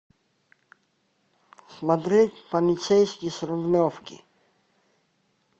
смотреть полицейский с рублевки